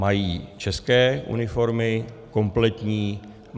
Mají české uniformy, kompletní.